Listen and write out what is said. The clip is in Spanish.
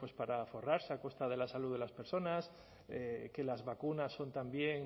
para forrarse a costa de la salud de las personas que las vacunas son también